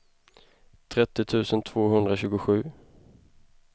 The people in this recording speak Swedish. trettio tusen tvåhundratjugosju